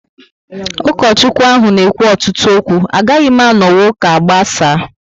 Ukochukwu ahụ n'ekwu ọtụtụ okwu, agaghị m anonwu ụka agbasaa